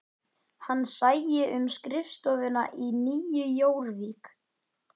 Hann sæi um skrifstofuna í Nýju Jórvík